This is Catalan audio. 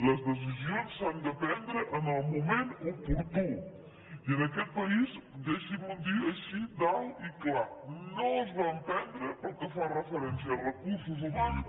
les decisions s’han de prendre en el moment oportú i en aquest país deixin·m’ho dir així d’alt i clar no es van prendre pel que fa referència a recursos humans